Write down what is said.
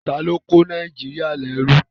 Taló kó Nàìjíríyà lẹ́rú?